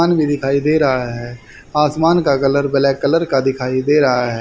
दिखाई दे रहा है आसमान का कलर ब्लैक कलर का दिखाई दे रहा--